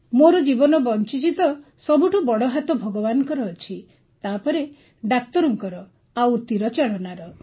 ମୋର ଜୀବନ ବଞ୍ଚିଛି ତ ସବୁଠୁ ବଡ଼ ହାତ ଭଗବାନଙ୍କର ଅଛି ତାପରେ ଡାକ୍ତରଙ୍କର ଆଉ ତୀରଚାଳନାର